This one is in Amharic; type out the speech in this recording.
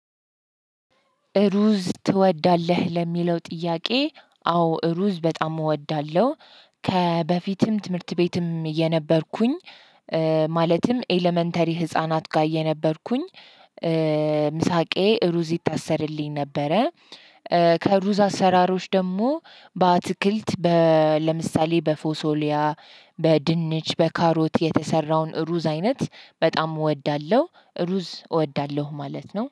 እሩዝ ትወዳለህ ለሚለው ጥያቄ አዎ እሩዝ በጣም እወዳለሁ። ከበፊትም ትምህርት ቤትም እየነበርኩኝ ማለትም ኤለመንተሪ ህፃናት ጋር የነበርኩኝ። ምሳ እቃዬ ሩዝ ይታሰርልኝ ነበረ። ከሩዝ አሰራሮች ደግሞ በአትክልት ለምሳሌ በፎሶሊያ በድንች በካሮት የተሰራውን ሩዝ አይነት በጣም እወዳለሁ። ሩዝ እወዳለሁ ማለት ነው